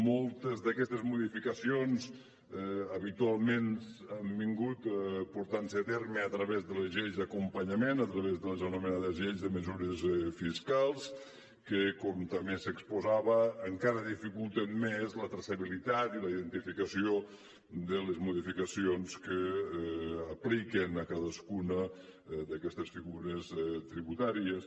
moltes d’aquestes modificacions habitualment s’han portat a terme a través de les lleis d’acompanyament a través de les anomenades lleis de mesures fiscals que com també s’exposava encara dificulten més la traçabilitat i la identificació de les modificacions que apliquen a cadascuna d’aquestes figures tributàries